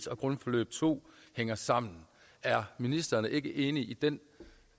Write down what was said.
og grundforløb to hænger sammen er ministeren ikke enig i den